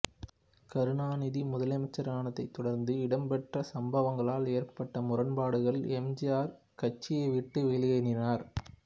கருணாநிதி முதலமைச்சரானதைத் தொடர்ந்து இடம்பெற்ற சம்பவங்களால் ஏற்பட்ட முரண்பாடுகள் எம் ஜி ஆர் கட்சியை விட்டு வெளியேறினார்